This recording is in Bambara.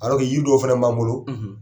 Alors que yiri dɔw fana b'an bolo